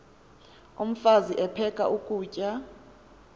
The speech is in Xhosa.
umfaz aphek ukutya